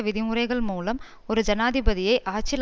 விதிமுறைகள் மூலம் ஒரு ஜனாதிபதியை ஆட்சியில்